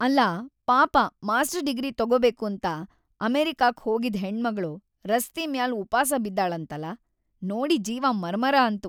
ಅಲ್ಲಾ ಪಾಪ master degree ತೊಗೊಬೇಕಂತ ಅಮೆರಿಕಾಕ್ ಹೋಗಿದ್‌ ಹೆಣ್ಮಗಳು ರಸ್ತಿ ಮ್ಯಾಲ್ ಉಪಾಸ ಬಿದ್ದಾಳಂತಲ.. ನೋಡಿ ಜೀವ ಮರಮರ ಅಂತು.